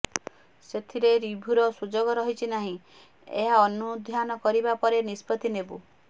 ସେଥିରେ ରିଭ୍ୟୁର ସୁଯୋଗ ରହିଛି ନାହିଁ ଏହା ଅନୁଧ୍ୟାନ କରିବା ପରେ ନିଷ୍ପତ୍ତି ନେବୁ